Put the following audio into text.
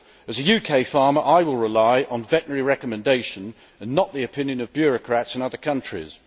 As a UK farmer, I will rely on veterinary recommendation and not the opinion of bureaucrats in other countries.